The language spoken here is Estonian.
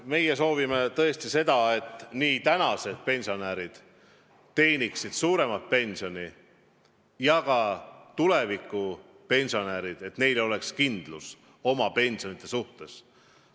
Meie soovime tõesti seda, et praegused pensionärid saaksid suuremat pensioni ja et ka tulevastel pensionäridel oleks kindlus oma pensionide suhtes.